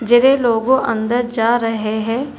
जेरे लोगो अंदर जा रहे हैं।